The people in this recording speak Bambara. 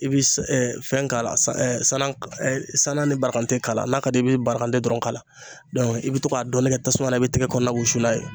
I bi s fɛn k'a la sa sanan k sanan ni barakante k'a la n'a ka d'i ye i bi barakante dɔrɔn k'a la, i bi to k'a dɔɔni kɛ tasuma la i b'i tɛgɛ kɔɔna wusu n'a ye.